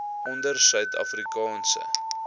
onder suid afrikaanse